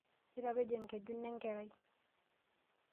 Itapejo enkeju nenkerai?